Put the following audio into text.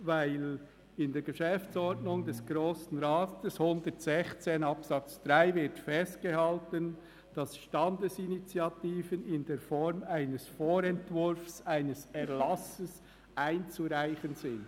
Denn in Artikel 116 Absatz 3 der Geschäftsordnung des Grossen Rats (GO) wird festgehalten, dass Standesinitiativen «in der Form eines Vorentwurfs eines Erlasses einzureichen» sind.